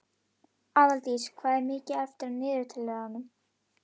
Aðaldís, hvað er mikið eftir af niðurteljaranum?